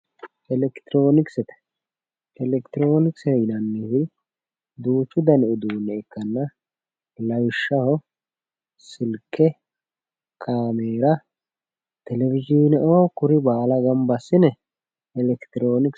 elekitiroonikise elekitiroonikisete yinanniti duuchu dani uduunne ikkanna lawishshaho silke kaameera telewizhiineoo kuri baala ganba assine elekitiroonikisete.